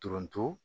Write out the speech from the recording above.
Dɔrɔnto